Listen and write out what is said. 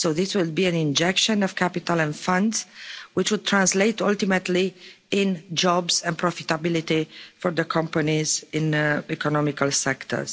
So this will be an injection of capital and funds, which would translate ultimately into jobs and profitability for the companies in economic sectors.